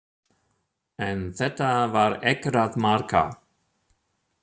En þetta var ekkert að marka.